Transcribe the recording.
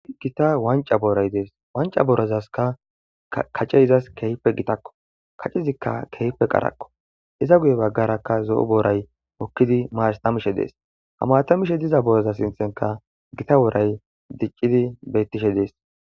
Gita wanca booray dees wanca boorozaska kace izas kehpe gitakko kacizikka kehpe qarakko iza guye baggarakka zo'o booray mokkidi maarstamishe dees hamatamishe diza booroza sinthenka gita wooray diccidi beyttishe dees.